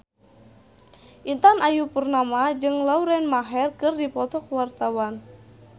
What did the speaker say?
Intan Ayu Purnama jeung Lauren Maher keur dipoto ku wartawan